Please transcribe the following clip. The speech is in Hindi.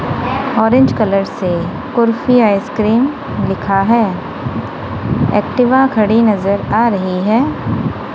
ऑरेंज कलर से कुर्फी आइसक्रीम लिखा है। एक्टिव खड़ी नजर आ रही है।